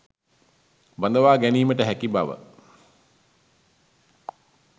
බඳවා ගැනීමට හැකි බව